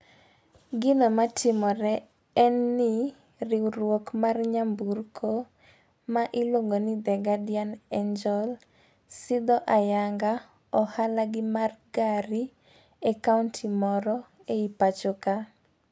Gino matimore en ni riwruok mar nyamburko ma iluongo ni the guardian angel sidho ayanga ohala gi mar gari e kaunti moro e pacho ka.